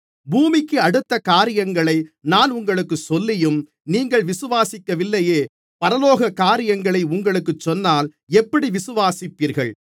பூமிக்கடுத்த காரியங்களை நான் உங்களுக்குச் சொல்லியும் நீங்கள் விசுவாசிக்கவில்லையே பரலோக காரியங்களை உங்களுக்குச் சொன்னால் எப்படி விசுவாசிப்பீர்கள்